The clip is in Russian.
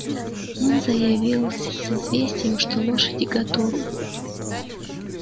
он заявился с известием что лошади готовы